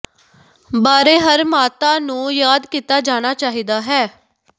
ਬਾਰੇ ਹਰ ਮਾਤਾ ਨੂੰ ਯਾਦ ਕੀਤਾ ਜਾਣਾ ਚਾਹੀਦਾ ਹੈ